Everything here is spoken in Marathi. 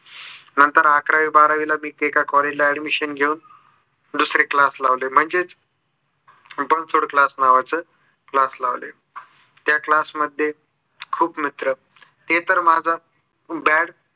नंतर आकरावी बारावीला मी एका collage ला अॅडमिशन घेऊन दुसरे class लावले. म्हणजेच बनसोडे class नावाचे class लावले. त्या class मध्ये खूप मित्र ते तर माझा bad